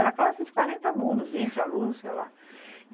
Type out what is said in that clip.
Era a classe de quarenta alunos, vinte alunos, sei lá.